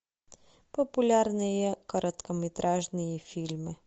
популярные короткометражные фильмы